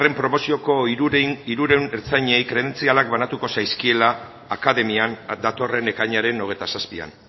promozioko hirurehun ertzainei kredentzialak banatuko zaizkiela akademian datorren ekainaren hogeita zazpian